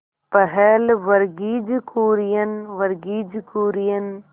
पहल वर्गीज कुरियन वर्गीज कुरियन